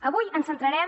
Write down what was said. avui ens centrarem